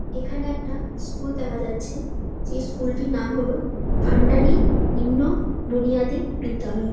এখানে একটা স্কুল দেখা যাচ্ছে এই স্কুল -টির নাম হলো ভান্ধাদি নিন্ম বুনিয়াদি বিদ্যালয়।